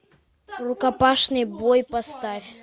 рукопашный бой поставь